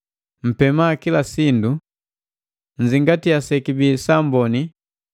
Mpema kila sindu. Nzingatia sekibi sa amboni,